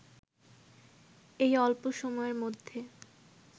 এই অল্প সময়ের মধ্যে